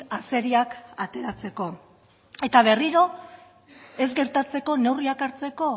azeriak ateratzeko eta berriro ez gertatzeko neurriak hartzeko